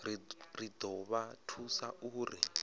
ri do vha thusa uri